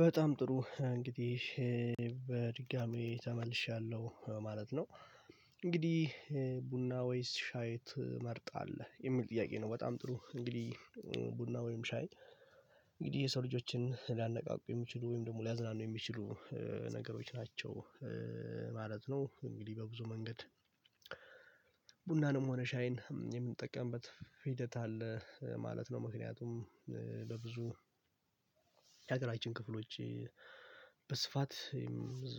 በጣም ጥሩ እንግዲህ በድጋሚ ተመልሻለሁ ማለት ነው። እንግዲህ ቡና ወይስ ሻይ ትመርጣህ የሚል ጥያቄ ነው? በጣም ጥሩ እንግዲህ ቡና ወይም ሻይ እንግዲህ የሰው ልጆችን ሊያነቃቁ የሚችሉ ወይም ደግሞ ሊያዝናኑ የሚችሉ ነገሮች ናቸው። ማለት ነው እንግዲህ በብዙ መንገድ ቡናንም ሆነ ሻይን የምንጠቀምበት ሂደት አለ ማለት ነው። ምክንያቱም ለብዙ የአገራችን ክፍሎች በስፋት ብዙ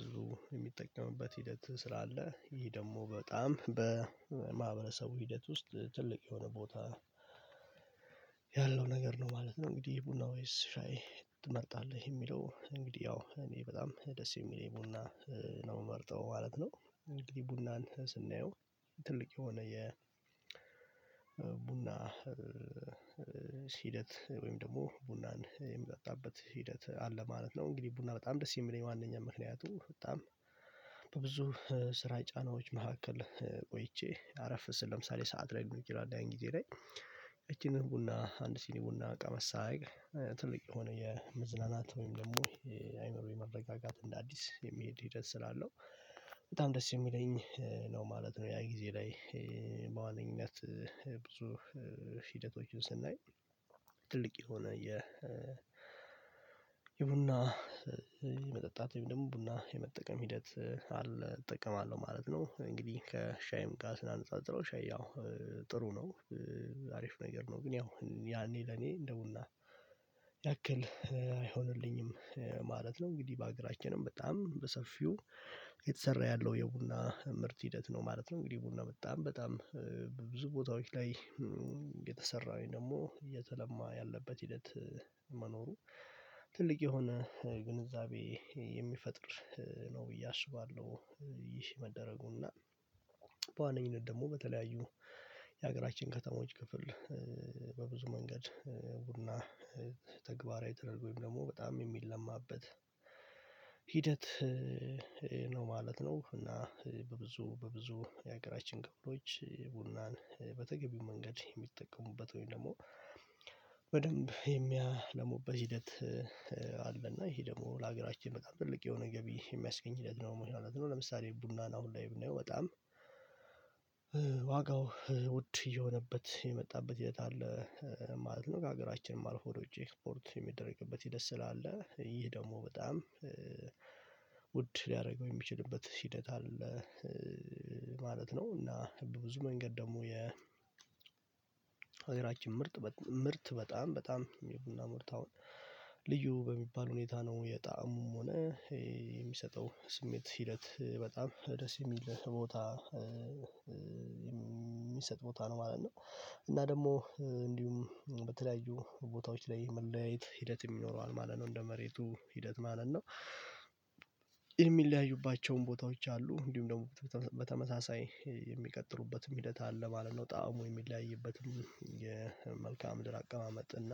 የሚጠቀምበት ሂደት ስላለ ይሄ ደግሞ በጣም በማህበረሰቡ ሂደት ውስጥ ትልቅ የሆነ ቦታ ያለው ነገር ነው ማለት ነው። እንግዲህ የቡና ወይስ ሻይ ትመርጣለህ የሚለው እንግዲህ ያው እኔ በጣም ደስ የሚል ቡና ነው ምመርጠው ማለት ነው። እንግዲህ ቡናን ስናየው ትልቅ የሆነ የቡና ሂደት ወይም ደግሞ ቡናን የምጠጣበት ሂደት አለ ማለት ነው። እንግዲህ ቡና በጣም ደስ የሚለኝ ዋናኛ ምክንያቱ በጣም በብዙ ስራ የጫናዎች መካከል ቆይቼ አረፍ ስል ለምሳሌ ሰዓት ላይኖር ይችላል። ያን ጊዜ ላይ እቺን ቡና አንድ ሲኒ ቡና ቀመስ ሳረግ ትልቅ የሆነ የመዝናናት ወይም ደግሞ የአይምሮ የመረጋጋት እንደ አዲስ የሚሄድ ሂደት ስላለው በጣም ደስ የሚለኝ ነው ማለት ነው። ያ ጊዜ ላይ በዋነኝነት ብዙ ሂደቶችን ስናይ ትልቅ የሆነ የቡና መጠጣት ወይም ደግሞ ቡና የመጠቀም ሂደት አለ እጠቀማለሁ ማለት ነው። እንግዲህ ከሻይም ጋ ስናነጻጽረው ሻይ ያው ጥሩ ነው አሪፍ ነገር ነው ግን ያው ያኔ ለኔ እንደ ቡና ያክል አይሆንልኝም ማለት ነው። እንግዲህ በአገራችንም በጣም በሰፊው እየተሰራ ያለው የቡና ምርት ሂደት ነው ማለት ነው እንግዲህ ቡና በጣም በጣም ብዙ ቦታዎች ላይ እየተለማ ያለበት ሂደት መኖሩ ትልቅ የሆነ ግንዛቤ የሚፈጥር ነው ብዬ አስባለሁ። ይህ መደረጉን እና በዋነኝነት ደግሞ በተለያዩ የሀገራችን ከተሞች ክፍል በብዙ መንገድ ቡና ተግባራዊ ተደርጎ ወይም ደግሞ በጣም የሚለማበት ሂደት ነው ማለት ነው። እና በብዙ በብዙ የሀገራችን ክፍሎች ቡናን በተገቢው መንገድ የሚጠቀሙበት ወይም ደግሞ በደንብ የሚያለሙበት ሂደት አለና ይሄ ደግሞ ለሀገራችን በጣም ትልቅ የሆነ ገቢ የሚያስገኝ ሂደት ነው ምን ማለት ነው። ለምሳሌ ቡና ነው ላይ ብናየው በጣም ዋጋው ውድ እየሆነበት የመጣበት የት አለ ማለት ነው ጋር ሀገራችንም አልፎ ወደ ውጭ ኤክፖርት የሚደረግበት ሂደት ስላለ ይሄ ደግሞ በጣም ውድ ሊያረገው የሚችልበት ሂደት አለ ማለት ነው። እና በብዙ መንገድ ደግሞ የ ሀገራችን ምርት ምርት በጣም በጣም ቡና ምርት አሁን ልዩ በሚባል ሁኔታ ነው የጣዕሙም ሆነ የሚሰጠው ስሜት ሂደት በጣም ደስ የሚል ቦታ የሚሰጥ ቦታ ነው ማለት ነው። እና ደግሞ እንዲሁም በተለያዩ ቦታዎች ላይ መለያየት ሂደት ይኖረዋል ማለት ነው እንደ መሬቱ ሂደት ማለት ነው የሚለያዩባቸውን ቦታዎች አሉ እንዲሁም ደግሞ በተመሳሳይ የሚቀጥሉበትም ሂደት አለ ማለት ነው። ጣዕሙ የሚለያይበትን የመልክዓ ምድር አቀማመጥ እና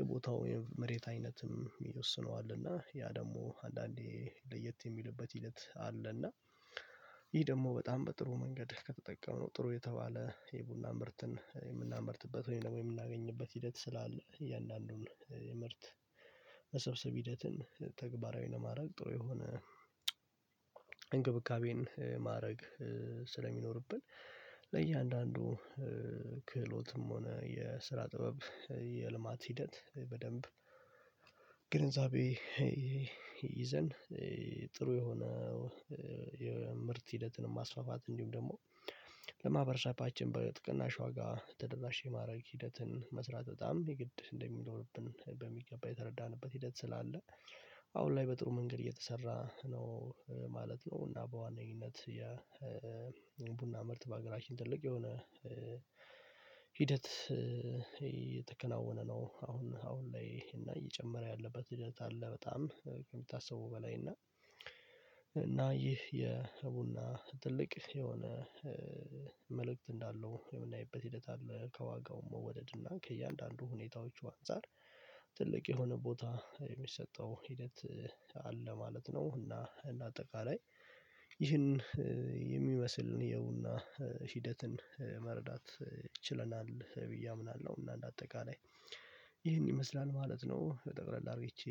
የቦታው መሬት አይነትም ይወስነዋል እና ያ ደግሞ አንዳንዴ ለየት የሚልበት ሂደት አለና። ይህ ደግሞ በጣም በጥሩ መንገድ ከተጠቀምነው ጥሩ የተባለ የቡና ምርትን የምናመርጥበት ወይም ደግሞ የምናገኝበት ሂደት ስላለ እያንዳንዱን የምርት መሰብሰብ ሂደትን ተግባራዊ ለማድረግ ጥሩ የሆነ እንክብካቤን ማረግ ስለሚኖርብን ለእያንዳንዱ ክህሎትም ሆነ የስራ ጥበብ የልማት ሂደት በደንብ ግንዛቤ ይዘን ጥሩ የሆነ ምርት ሂደትንም ማስፋፋት እንዲሁም ደግሞ ለማህበረባችን በጥቅናሽ ዋጋ ተደራሽ የማድረግ ሂደትን መስራት በጣም የግድ እንደሚለው ልብን በሚገባ የተረዳንበት ሂደት ስላለ። አሁን ላይ በጥሩ መንገድ እየተሰራ ነው ማለት ነው። እና በዋነኝነት ያ ቡና ምርት በሀገራችን ትልቅ የሆነ ሂደት የተከናወነ ነው አሁን አሁን ላይ እና እየጨመረ ያለበት ሂደት አለ በጣም ከምታስበው በላይ እና እና ይህ የቡና ትልቅ የሆነ መልእክት እንዳለው የምናይበት ሂደት አለ ከዋጋው መወደድ እና ከእያንዳንዱ ሁኔታዎቹ አንፃር ትልቅ የሆነ ቦታ የሚሰጠው ሂደት አለ ማለት ነው። እና እና አጠቃላይ ይህን የሚመስልን የቡና ሂደትን መረዳት ችለናል ብዬ አምናለሁ። እና እንደ አጠቃላይ ይሄን ይመስላል ማለት ነው። ጠቅለል አድርጌቼ